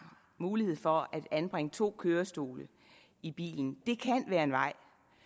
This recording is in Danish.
mulighed for at anbringe to kørestole i bilen det kan være en vej